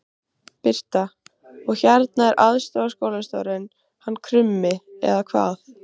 Birta: Og hérna er aðstoðarskólastjórinn hann Krummi eða hvað?